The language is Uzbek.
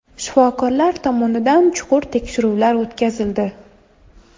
Shifokorlar tomonidan chuqur tekshiruvlar o‘tkazildi.